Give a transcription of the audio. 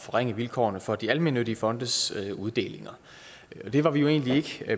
forringe vilkårene for de almennyttige fondes uddelinger det var vi jo egentlig ikke